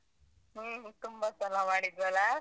ಹು. ತುಂಬ ಸಲ ಮಾಡಿದ್ವಲಾ?